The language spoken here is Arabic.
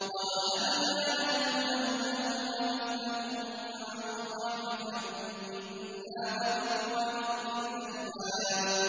وَوَهَبْنَا لَهُ أَهْلَهُ وَمِثْلَهُم مَّعَهُمْ رَحْمَةً مِّنَّا وَذِكْرَىٰ لِأُولِي الْأَلْبَابِ